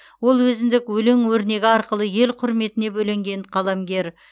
ол өзіндік өлең өрнегі арқылы ел құрметіне бөленген қаламгер